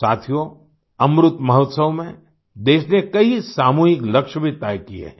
साथियों अमृतमहोत्सव में देश ने कई सामूहिक लक्ष्य भी तय किए हैं